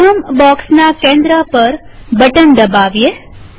પ્રથમ બોક્સના કેન્દ્ર ઉપર બટન દબાવીએ